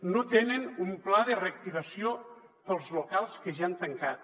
no tenen un pla de reactivació per als locals que ja han tancat